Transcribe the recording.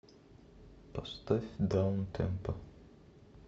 поставь даунтемпо